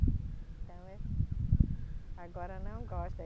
Então é. Agora não gosto.